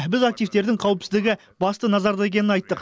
біз активтердің қауіпсіздігі басты назарда екенін айттық